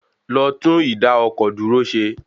Lọ tún ìdá-ọkọ̀-dúró rẹ ṣe.